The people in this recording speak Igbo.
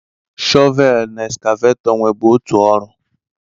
Shọvelu na eskavetọ nwebu otu ọrụ.